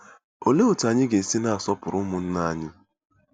Olee otú anyị ga-esi na-asọpụrụ ụmụnna anyị?